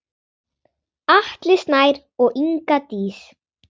Atli Snær og Inga Dís.